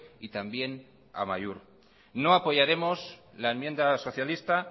y también amaiur no apoyaremos la enmienda socialista